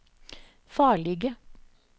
farlige